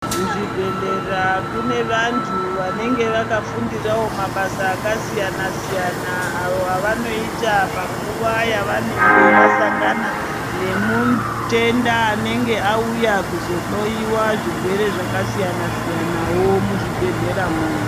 Kuzvibhedhlera kune vantu vanenge vakafundirawo mabasa akasiyana-siyana avo avanoita panguva yavanenge vasangana nemutenda anenge auya kuzohloiwa zvirwere zvakasiyana-siyanawo muzvibhedhleramwo.